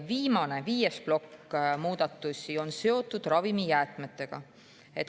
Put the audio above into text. Viimane, viies muudatuste plokk on seotud ravimijäätmetega.